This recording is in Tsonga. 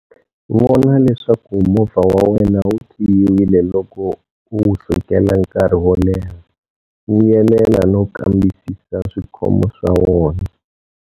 Vona leswaku movha wa wena wu khiyiwile loko u wu sukela nkarhi wo leha. Vuyelela no kambisisa swikhomo swa wona.